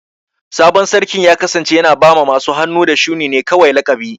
Sabon Sarkin ya kasance yana ba masu hannu da shuni ne kawai laƙabi.